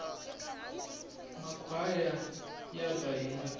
makhwaya yaba hi majaha